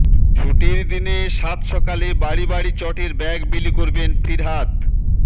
ছুটির দিনে সাতসকালে বাড়ি বাড়ি চটের ব্যাগ বিলি করবেন ফিরহাদ